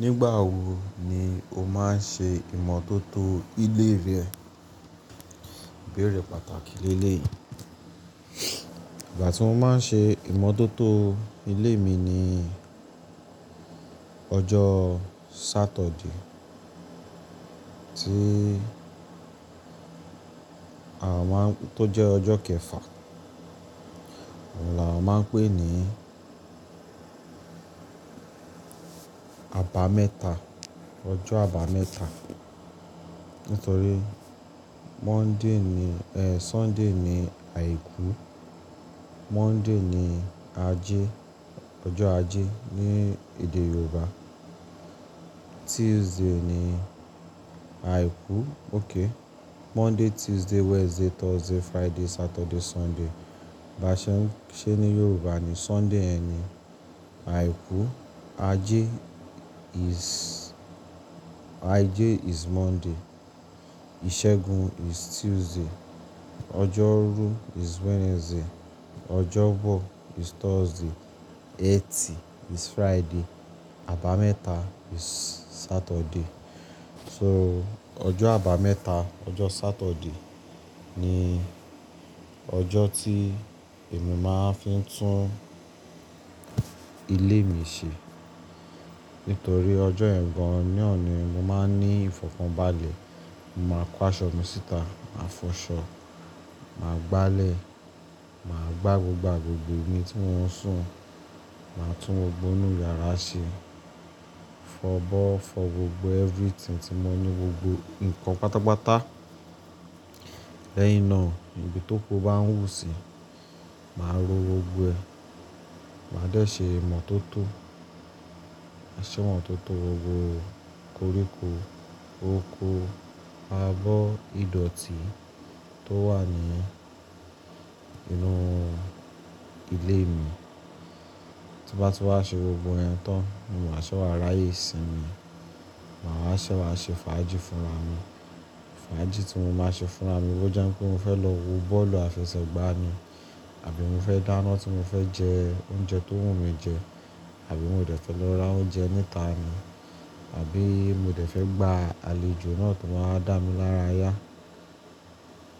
Nígbà wo ni o máa ń ṣe ìmọ́tótó ilé rẹ? Ìgbà tí mo máa ń ṣe ìmọ́tótó ilé mi ni ọjọ́ Saturday tí a máa ń-- tó jẹ́ ọjọ́ kẹfà. Òun là a máa ń pè ní abámẹ́ta, ọjọ́ abámẹ́ta. Nítorí Monday ni-- Sunday ni àìkú, Monday ni ajé, ọjọ́ ajé ní èdè Yorùbá. Tuesday ni àìkú. Okay. Monday, Tuesday, Wednesday, Thursday, Friday, Saturday, Sunday. Ba ṣe ń ṣẹ ní Yorùbá ni Sunday yẹn ni àìkú. Ajé is, ajé is Monday. Ìsẹ́gun is Tuesday. Ọjọ́rú is Wednesday. Ọjọ́bọ̀ is Thursday. Etì is Friday. Abámẹ́ta is Saturday. So ọjọ́ abámẹ́ta, ọjọ́ Saturday ni ọjọ́ tí èmi máa ń fi tún ilé mi ṣe. Nítorí ọjọ́ yẹn gan ná ní mo máa ń ní ìfọ̀kànbalẹ̀. Mo máa kó aṣọ mi síta, màá fọ aṣọ, màá gbálẹ̀, màá gbá gbogbo agbègbè mi tí mon sùn. Màá tún gbogbo inú yàrá ṣe. Fọ abọ́, fọ gbogbo everything tí mọ ní gbogbo nǹkan pátápátá. Lẹ́yìn náà, ibi tóko bá ń wù síi, màá ró gbogbo ẹ̀. Màá dé ṣe ìmọ́tótó, ma ṣe ìmọ́tótó gbogbo koríko, oko, abọ́, ìdọ̀tí tó wà ní inú ilé mi. Tí bá ti wá ṣe gbogbo yẹn tán, ni máa ṣẹ́wà ráyè sí mi. Màá ṣẹ́wà ṣe fàájì fúnra mi. Fàájì tí mo máa ṣe fúnra mi ó jẹ́ pé mo fẹ́ lọ wo bọ́ọ̀lù àfẹsẹ̀gbá ni àbí mo fẹ́ dáná tí mo fẹ́ jẹ oúnjẹ tó wù mí jẹ àbí mo dẹ̀ fẹ́ lọ ra oúnjẹ níta ni àbí mo dẹ̀ fẹ́ gba àlejò náà tó máa wa dá mí lára yá.